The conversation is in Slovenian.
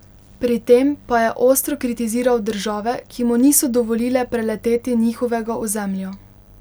Pri tem pa je ostro kritiziral države, ki mu niso dovolile preleteti njihovega ozemlja.